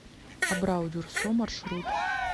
абрау дюрсо маршрут